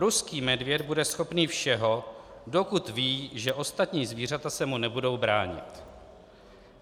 Ruský medvěd bude schopný všeho, dokud ví, že ostatní zvířata se mu nebudou bránit.